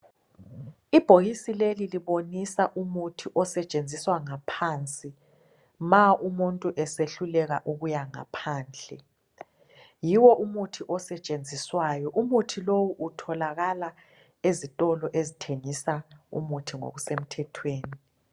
Ibhokisi leli libonisa umuthi osetshenziswa ngaphansi ma umuntu esehluleka ukuya ngaphandle, yiwo umuthi osetshenziswayo . Umuthi lowu utholakala ezitolo ezithengisa umuthi ngokusemthethweni.